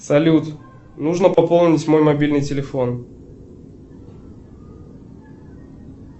салют нужно пополнить мой мобильный телефон